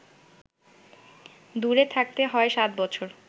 দূরে থাকতে হয় সাত বছর